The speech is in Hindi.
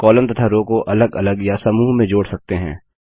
कॉलम तथा रो को अलग अलग या समूह में जोड़ सकते हैं